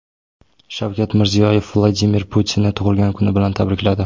Shavkat Mirziyoyev Vladimir Putinni tug‘ilgan kuni bilan tabrikladi .